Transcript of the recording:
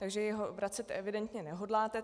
Takže ho vracet evidentně nehodláte.